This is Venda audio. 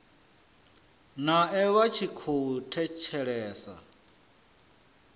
nae vha tshi khou thetshelesa